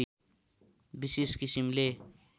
विशेष किसिमले